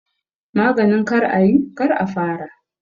Maganin kar a yi, kar a fara